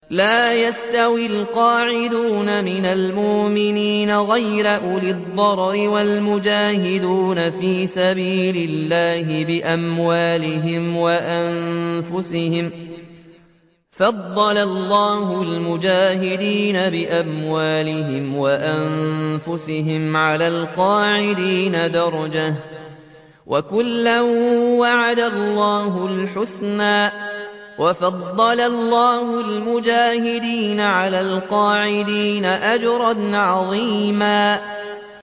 لَّا يَسْتَوِي الْقَاعِدُونَ مِنَ الْمُؤْمِنِينَ غَيْرُ أُولِي الضَّرَرِ وَالْمُجَاهِدُونَ فِي سَبِيلِ اللَّهِ بِأَمْوَالِهِمْ وَأَنفُسِهِمْ ۚ فَضَّلَ اللَّهُ الْمُجَاهِدِينَ بِأَمْوَالِهِمْ وَأَنفُسِهِمْ عَلَى الْقَاعِدِينَ دَرَجَةً ۚ وَكُلًّا وَعَدَ اللَّهُ الْحُسْنَىٰ ۚ وَفَضَّلَ اللَّهُ الْمُجَاهِدِينَ عَلَى الْقَاعِدِينَ أَجْرًا عَظِيمًا